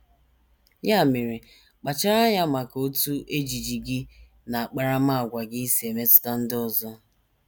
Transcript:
Ya mere, kpachara anya maka otú ejiji gị na akparamàgwà gị si emetụta ndị ọzọ.